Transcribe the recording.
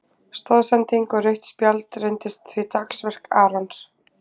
Stoðsending og rautt spjald reyndist því dagsverk Arons.